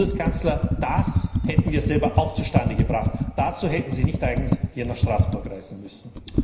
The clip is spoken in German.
Herr Bundeskanzler, das hätten wir selber auch zustande gebracht, dazu hätten Sie nicht eigens hier nach Straßburg reisen müssen.